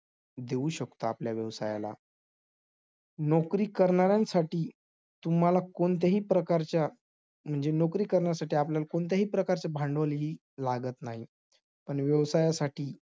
देऊ शकतो आपल्या व्यवसायाला, नोकरी करणाऱ्यांसाठी तुम्हाला कोणत्याही प्रकारच्या म्हणजे नोकरी करण्यासाठी आपल्याला कोणतेही प्रकारचे भांडवल ही लागत नाही. पण व्यवसायासाठी